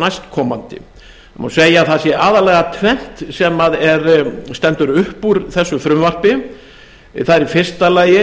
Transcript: næstkomandi það má segja að það sé aðallega tvennt sem stendur upp úr þessu frumvarpi það er í fyrsta lagi